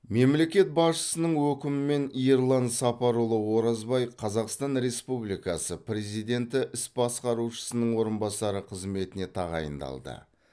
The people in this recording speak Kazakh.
мемлекет басшысының өкімімен ерлан сапарұлы оразбай қазақстан республикасы президенті іс басқарушысының орынбасары қызметіне тағайындалды